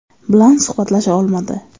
bilan suhbatlasha olmadi.